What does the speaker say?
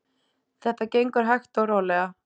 Þetta gengur hægt og rólega.